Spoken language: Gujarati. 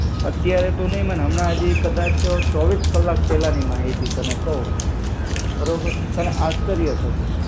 અત્યારે તું ની માન, હમણાં હજી કદાચ ચોવીસ કલાક પેહલા ની માહિતી તને કહું. બરોબર તને આશ્ચર્ય થશે.